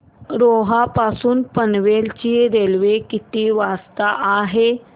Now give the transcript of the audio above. रोहा पासून पनवेल ची रेल्वे किती वाजता आहे